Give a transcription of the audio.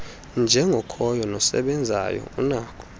njengokhoyo nosebenzayo unako